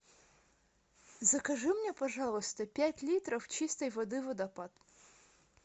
закажи мне пожалуйста пять литров чистой воды водопад